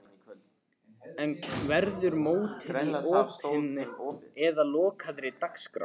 En verður mótið í opinni eða lokaðri dagskrá?